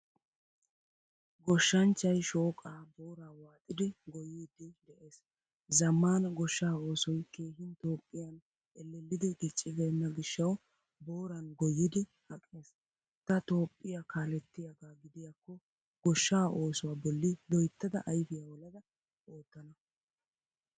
Goshshanchchay shooqqa booraa waaxidi goyidi de'ees. Zamaana goshshaa oosoy keehin toophphiyan ellelidi diccibena gishawu booran goyidi aqqees. Ta toophphiyaa kaalettiyagga gidiyakko goshsha oosuwaa bolli loyttada ayfiya olada oottana.